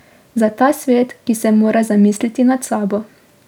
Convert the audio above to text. Za ta svet, ki se mora zamisliti nad sabo.